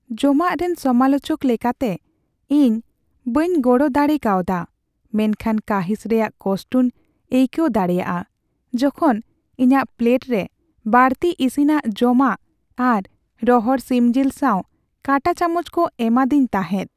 ᱡᱚᱢᱟᱜ ᱨᱮᱱ ᱥᱚᱢᱟᱞᱳᱪᱚᱠ ᱞᱮᱠᱟᱛᱮ, ᱤᱧ ᱵᱟᱹᱧ ᱜᱚᱲᱚᱨᱮ ᱫᱟᱲᱮ ᱠᱟᱣᱫᱟ ᱢᱮᱱᱠᱷᱟᱱ ᱠᱟᱺᱦᱤᱥ ᱨᱮᱭᱟᱜ ᱠᱚᱥᱴᱚᱧ ᱟᱹᱭᱠᱟᱹᱣ ᱫᱟᱲᱮᱭᱟᱜᱼᱟ ᱡᱚᱠᱷᱚᱱ ᱤᱧᱟᱹᱜ ᱯᱞᱮᱴᱨᱮ ᱵᱟᱹᱲᱛᱤ ᱤᱥᱤᱱᱟᱜ ᱡᱚᱢᱟᱜ ᱟᱨ ᱨᱚᱦᱚᱲ ᱥᱤᱢ ᱡᱤᱞ ᱥᱟᱶ ᱠᱟᱴᱟ ᱪᱟᱢᱚᱪ ᱠᱚ ᱮᱢᱟᱫᱣᱮᱧ ᱛᱟᱦᱮᱸᱫ ᱾